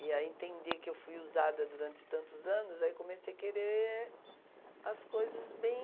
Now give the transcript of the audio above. e a entender que eu fui usada durante tantos anos, aí comecei a querer as coisas bem...